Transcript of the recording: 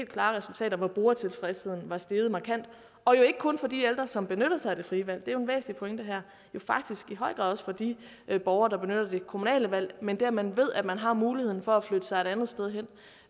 klare resultater hvor brugertilfredsheden var steget markant og jo ikke kun for de ældre som benyttede sig af det frie valg er en væsentlig pointe her men faktisk i høj grad også for de borgere der benyttede det kommunale valg men det at man ved at man har muligheden for at flytte sig et andet sted hen